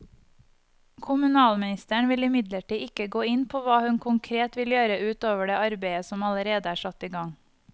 Kommunalministeren vil imidlertid ikke gå inn på hva hun konkret vil gjøre ut over det arbeidet som allerede er satt i gang.